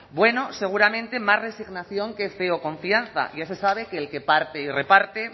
bueno seguramente más resignación que fe o confianza ya se sabe que el que parte y reparte